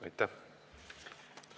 Aitäh!